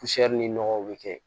ni nɔgɔw bɛ kɛ